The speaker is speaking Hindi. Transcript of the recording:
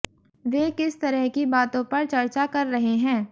वे किस तरह की बातों पर चर्चा कर रहे हैं